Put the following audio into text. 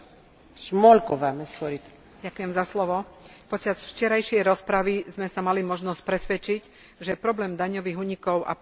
Počas včerajšej rozpravy sme sa mali možnosť presvedčiť, že problém daňových únikov a podvodov je problémom pre všetky štáty Európskej únie.